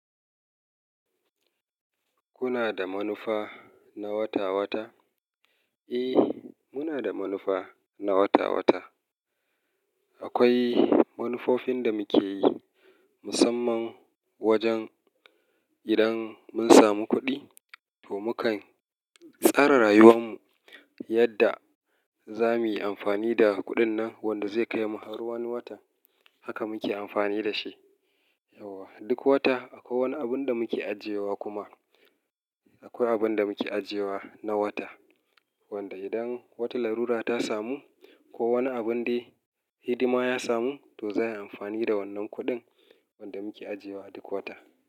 Kuna da manufa na wata-wata? A, muna da manufa na wata-wata. Akwai manufofin da muke yi musamman wajen idan mun samu kuɗi, to mukan tsara rayuwar mu yadda za muyi amfani da kuɗin nan wanda zai kai mu har wani watan. Haka muke amfani da shi. Yauwa, duk wata akwai wani abun da mu ke ajiyewa kuma akwai abun da mu ke ajiyewa na wata. Wanda idan wata larura ta samu ko wani abun dai hidima ya samu to zai yi amfani da wannan kuɗin wanda muke ajiyewa a duk wata.